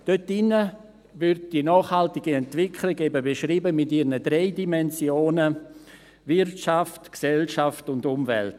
Dort wird die nachhaltige Entwicklung eben mit ihren drei Dimensionen beschrieben: Wirtschaft, Gesellschaft und Umwelt.